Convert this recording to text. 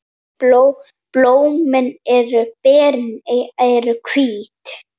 Blómin og berin eru hvít.